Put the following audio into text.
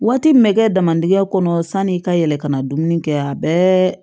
Waati min bɛ kɛ damadingɛ kɔnɔ sanni i ka yɛlɛ kana dumuni kɛ a bɛɛ